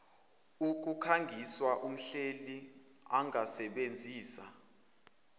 ukukukhangisa umhleli angasebenzisa